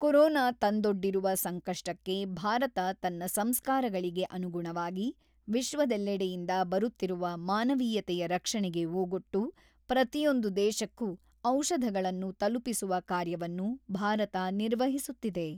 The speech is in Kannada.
ಕೊರೋನಾ ತಂದೊಡ್ಡಿರುವ ಸಂಕಷ್ಟಕ್ಕೆ ಭಾರತ ತನ್ನ ಸಂಸ್ಕಾರಗಳಿಗೆ ಅನುಗುಣವಾಗಿ ವಿಶ್ವದೆಲ್ಲೆಡೆಯಿಂದ ಬರುತ್ತಿರುವ ಮಾನವೀಯತೆಯ ರಕ್ಷಣೆಗೆ ಓಗೊಟ್ಟು ಪ್ರತಿಯೊಂದು ದೇಶಕ್ಕೂ ಔಷಧಗಳನ್ನು ತಲುಪಿಸುವ ಕಾರ್ಯವನ್ನು ಭಾರತ ನಿರ್ವಹಿಸುತ್ತಿದೆ.